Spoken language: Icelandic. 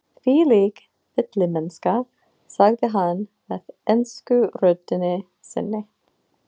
Þvílík villimennska, sagði hann með ensku röddinni sinni.